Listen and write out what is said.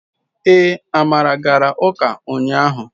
Ee, amara gara uka unyahu